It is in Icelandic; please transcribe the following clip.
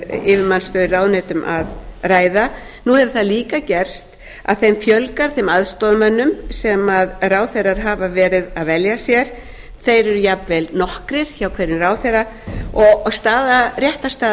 í yfirmannsstöður í ráðuneytum að ræða nú hefur það líka gerst að þeim aðstoðarmönnum fjölgar sem ráðherrar hafa verið að velja sér þeir eru jafnvel nokkrir hjá hverjum ráðherra og réttarstaða